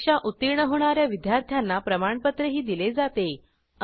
परीक्षा उत्तीर्ण होणा या विद्यार्थ्यांना प्रमाणपत्रही दिले जाते